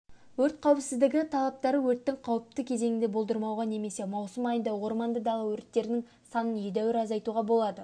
өрт қауіпсіздігі талаптары өрттің қауіпті кезеңін болдырмауға немесе маусым айында орманды дала өрттерінің санын едәуір азайтуға болады